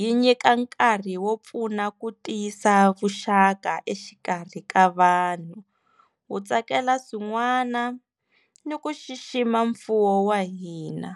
yi nyika nkarhi wo pfuna ku tiyisa vuxaka exikarhi ka vanhu wu tsakela swin'wana ni ku xixima mfuwo wa hina.